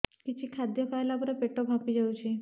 କିଛି ଖାଦ୍ୟ ଖାଇଲା ପରେ ପେଟ ଫାମ୍ପି ଯାଉଛି